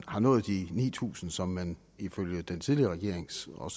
har nået de ni tusind t som man ifølge den tidligere regerings og